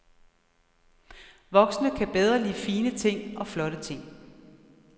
Voksne kan bedre lide fine ting og flotte ting.